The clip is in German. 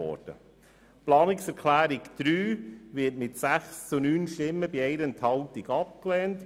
Die Planungserklärung 3 wurde mit 6 zu 9 Stimmen bei 1 Enthaltung abgelehnt.